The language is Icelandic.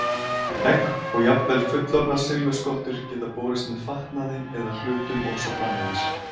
Egg og jafnvel fullorðnar silfurskottur geta borist með fatnaði eða hlutum og svo framvegis.